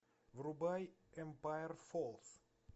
врубай эмпайр фоллс